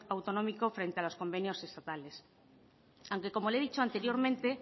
autonómico frente a los convenios estatales aunque como le he dicho anteriormente